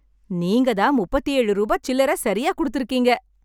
நீங்க தான் முப்பத்தி ஏழு ரூபா சில்லறை சரியா கொடுத்திருக்கீங்க!